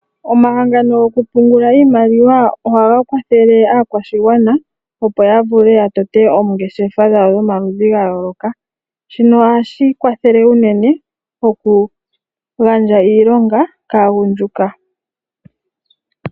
Omahangano gokumbungula iimaliwa ohaga kwathele aakwashigwana, opo ya vule ya tote oongeshefa dhawo dhomaludhi ga yooloka, shino ohashi kwathele unene, oku gandja iilonga kaagundjuka.